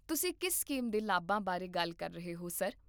ਤੁਸੀਂ ਕਿਸ ਕਿਸਮ ਦੇ ਲਾਭਾਂ ਬਾਰੇ ਗੱਲ ਕਰ ਰਹੇ ਹੋ, ਸਰ?